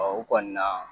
u kɔni na